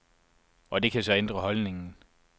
Og det kan så ændre holdningen.